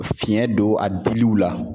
Fiɲɛ don a diliw la.